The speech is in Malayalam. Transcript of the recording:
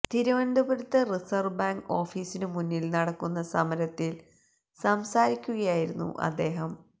തിരുവനന്തപുരത്ത് റിസര്വ്വ് ബാങ്ക് ഓഫീസിനു മുന്നില് നടക്കുന്ന സമരത്തിൽ സംസാരിക്കുകയായിരുന്നു അദ്ദേഹം